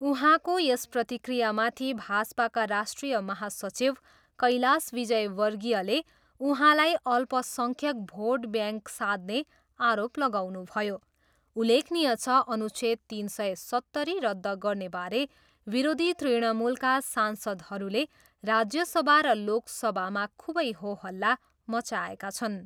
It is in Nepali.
उहाँको यस प्रतिक्रियामाथि भाजपाका राष्ट्रिय महासचिव कैलाश विजयवर्गीयले उहाँलाई अल्पसङ्ख्यक भोट ब्याङ्क साध्ने आरोप लगाउनुभयो। उल्लेखनीय छ, अनुच्छेद तिन सय सत्तरी रद्ध गर्नेबारे विरोधी तृणमूलका सांसदहरूले राज्य सभा र लोक सभामा खुबै होहल्ला मच्चाएका छन्।